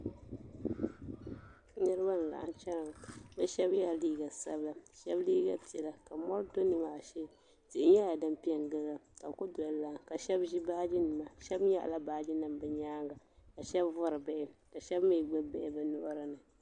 Niriba n laɣim chena bɛ sheba yela liiga sabila sheba liiga piɛla ka mori do nimaa shee yihi nyɛla din piɛngili ba ka bɛ kuli doli lai ka sheba ʒi baaji nima sheba nyaɣala baaji nima bɛ nyaanga ka sheba vori bihi ka sheba mee gbibi bihi bɛ nuhi ni.